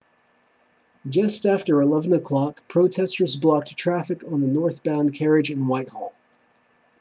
just after 11:00 protesters blocked traffic on the northbound carriage in whitehall